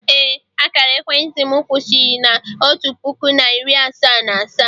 ee, akara ekwentị m kwụsịrị na otu puku na iri asaa na asaa